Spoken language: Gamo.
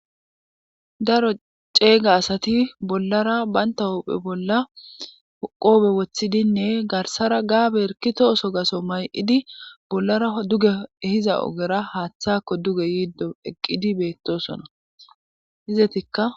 daro ceeyga asati bollara baynta huphe bolla oqoobe woththidinne garsara gaabe erkito oso gaso may7idi bollara duge hiza ogera haaththakko duge yiiddo eqqidi beettosona hizetikka